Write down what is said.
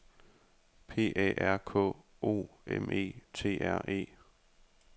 P A R K O M E T R E